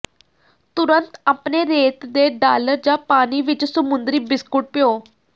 ਤੁਰੰਤ ਆਪਣੇ ਰੇਤ ਦੇ ਡਾਲਰ ਜਾਂ ਪਾਣੀ ਵਿਚ ਸਮੁੰਦਰੀ ਬਿਸਕੁਟ ਭਿਓ